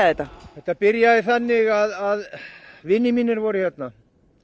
þetta þetta byrjaði þannig að vinir mínir voru hérna